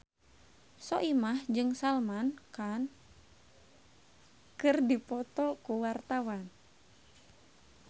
Soimah jeung Salman Khan keur dipoto ku wartawan